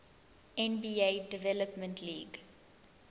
nba development league